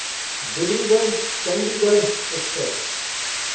Dibrugarh Chandigarh express